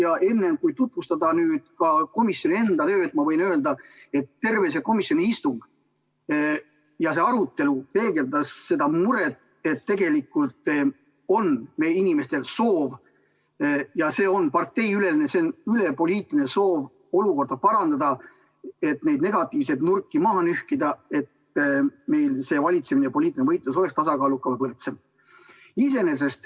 Ja enne, kui tutvustan komisjoni seisukohti, ma võin öelda, et terve see komisjoni istung ja see arutelu peegeldas muret, et tegelikult on meie inimestel soov – ja see on parteideülene soov – olukorda parandada, neid negatiivseid nurki maha nühkida, et valitsemine ja poliitiline võitlus oleks meil tasakaalukam ja võrdsem.